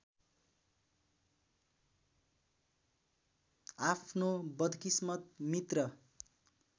आफ्नो बदकिस्मत मित्र